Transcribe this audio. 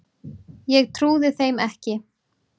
Ég trúði þeim ekki.